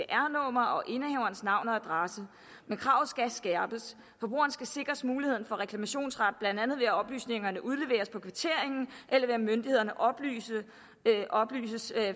navn og adresse men kravene skal skærpes forbrugeren skal sikres mulighed for reklamationsret blandt andet ved at oplysningerne udleveres på kvitteringen eller ved at myndighederne oplysninger